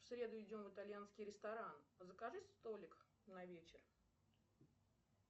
в среду идем в итальянский ресторан закажи столик на вечер